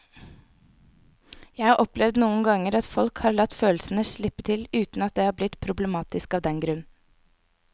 Jeg har opplevd noen ganger at folk har latt følelsene slippe til uten at det er blitt problematisk av den grunn.